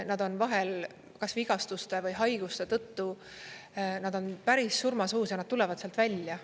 Nad on vahel kas vigastuste või haiguste tõttu päris surmasuus ja nad tulevad sealt välja.